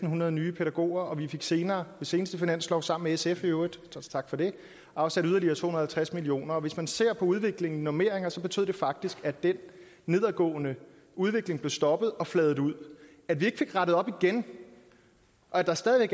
hundrede nye pædagoger og vi fik senere ved seneste finanslov sammen med sf i øvrigt tak for det afsat yderligere to hundrede og halvtreds millioner hvis man ser på udviklingen på normeringerne så betød det faktisk at den nedadgående udvikling blev stoppet og fladet ud at vi ikke fik rettet op igen og at der stadig